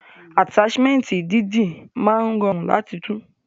Ataṣimẹnti dídì máa rọrun lati tú.